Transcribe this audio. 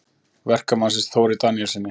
Verkamannsins, Þóri Daníelssyni.